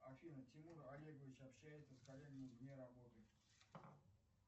афина тимур олегович общается с коллегами вне работы